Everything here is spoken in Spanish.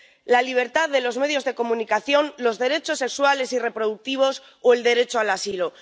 la libertad de los medios de comunicación, los derechos sexuales y reproductivos o el derecho al asilo.